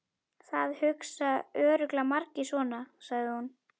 Það hugsa örugglega margir svona, sagði hún.